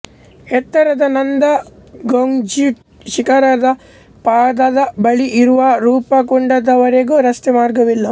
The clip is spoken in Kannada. ಎತ್ತರದ ನಂದಘುಂಗ್ಟಿ ಶಿಖರಗಳ ಪಾದದ ಬಳಿ ಇರುವ ರೂಪಕುಂಡ ದವರೆಗೆ ರಸ್ತೆ ಮಾರ್ಗವಿಲ್ಲ